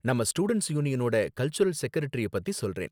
நம்ம ஸ்டூடண்ட்ஸ் யூனியனோட கல்சுரல் செகரெட்டரிய பத்தி சொல்றேன்.